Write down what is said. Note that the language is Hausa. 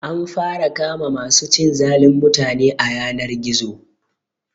An fara kama ma su cin zalin mutane a yanar gizo